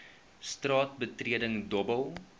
straat betreding dobbel